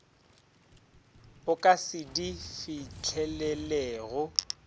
o ka se di fihlelelego